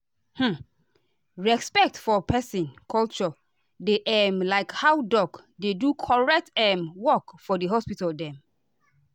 hmmm respect for peson culture dey um like how doc dey do correct um work for for hospital dem.